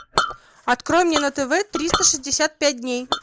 открой мне на тв триста шестьдесят пять дней